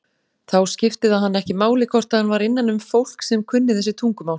Þá skipti það hann ekki máli hvort hann var innanum fólk sem kunni þessi tungumál.